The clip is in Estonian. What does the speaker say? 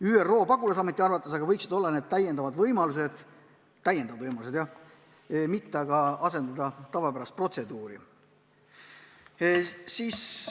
ÜRO pagulasameti arvates võiks see olla täiendav võimalus, mitte tavapärane protseduur.